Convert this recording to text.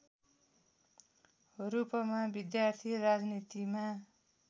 रूपमा विद्यार्थी राजनीतिमा